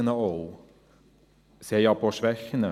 Sie haben aber auch Schwächen.